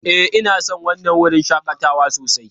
Ee, ina son wannan wurin shakatawan sosai.